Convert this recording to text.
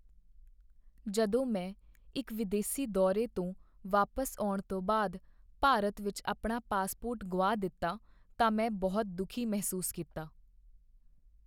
ਜਦੋਂ ਮੈਂ ਇੱਕ ਵਿਦੇਸੀ ਦੌਰੇ ਤੋਂ ਵਾਪਸ ਆਉਣ ਤੋਂ ਬਾਅਦ ਭਾਰਤ ਵਿੱਚ ਆਪਣਾ ਪਾਸਪੋਰਟ ਗੁਆ ਦਿੱਤਾ ਤਾਂ ਮੈਂ ਬਹੁਤ ਦੁਖੀ ਮਹਿਸੂਸ ਕੀਤਾ।